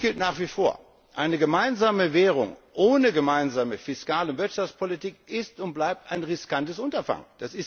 können. Eines gilt nach wie vor Eine gemeinsame Währung ohne gemeinsame fiskale Wirtschaftspolitik ist und bleibt ein riskantes Unterfangen.